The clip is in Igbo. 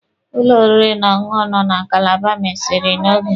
Ụlọ oriri na ọṅụṅụ nọ na Kalaba mesiri n'oge.